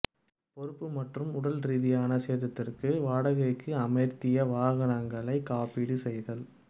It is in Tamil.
பொறுப்பு மற்றும் உடல் ரீதியான சேதத்திற்கு வாடகைக்கு அமர்த்திய வாகனங்களை காப்பீடு செய்தல்